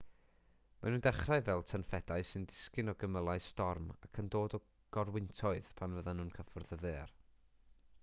maen nhw'n dechrau fel tynffedau sy'n disgyn o gymylau storm ac yn dod yn gorwyntoedd pan fyddan nhw'n cyffwrdd y ddaear